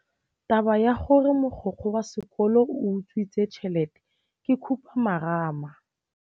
Taba ya gore mogokgo wa sekolo o utswitse tšhelete ke khupamarama.